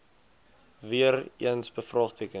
weer eens bevraagteken